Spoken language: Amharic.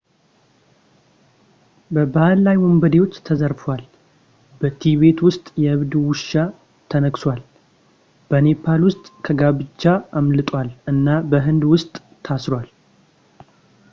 በባህር ላይ ወንበዴዎች ተዘርፏል በቲቤት ውስጥ በእብድ ውሻ ተነክሷል በኔፓል ውስጥ ከጋብቻ አምልጧል እና በህንድ ውስጥ ታስሯል